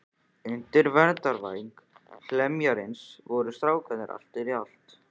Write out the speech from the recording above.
Undir verndarvæng heljarmennisins voru strákarnir til í allt.